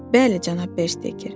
Bəli, cənab Bester.